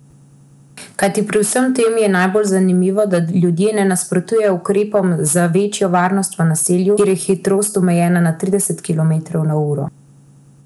Kajti pri vsem skupaj je najbolj zanimivo, da ljudje ne nasprotujejo ukrepom za večjo varnost v naselju, kjer je hitrost omejena na trideset kilometrov na uro.